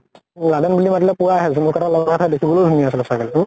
Laden বুলি মাতিলে পুৰা আহে । জোনোকা এটা লগাই থৈ দিছো । বহুত ধুনীয়া আছিল ছাগলী তো ।